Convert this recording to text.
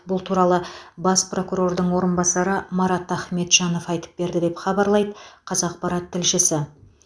бұл туралы бас прокурордың орынбасары марат ахметжанов айтып берді деп хабарлайды қазақпарат тілшісі